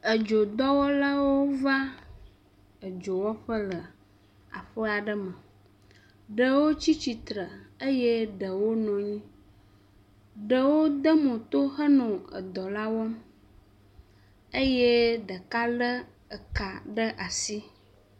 Edzodɔwɔlawo va edzo wɔƒe le aɖe aɖe me, ɖewo tsi tsitre eye ɖewo nɔ anyi, ɖewo de mo to henɔ edɔ la wɔm eye ɖeka lé eka ɖe asi.